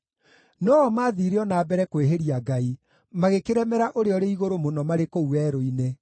No-o maathiire o na mbere kwĩhĩria Ngai, magĩkĩremera Ũrĩa-ũrĩ-Igũrũ-Mũno marĩ kũu werũ-inĩ.